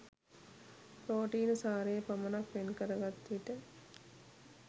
ප්‍රෝටීන සාරය පමණක් වෙන් කරගත් විට